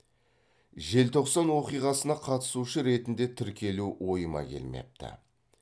желтоқсан оқиғасына қатысушы ретінде тіркелу ойыма келмепті